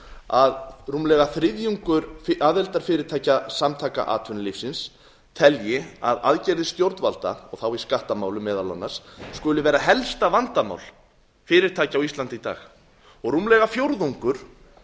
að rúmlega þriðjungur aðildarfyrirtækja samtaka atvinnulífsins telji að aðgerðir stjórnvalda og þá í skattamálum meðal annars skuli vera helsta vandamál fyrirtækja á íslandi í dag og rúmlega fjórðungur